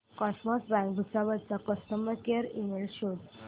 cosmos bank Bhusawal चा customer care email शोध